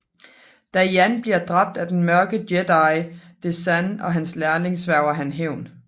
Da Jan bliver dræbt af den Mørke Jedi Desann og hans lærlig svæger han hævn